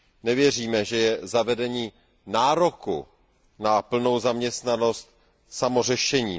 Nevěříme, že je zavedení nároku na plnou zaměstnanost samo o sobě řešením.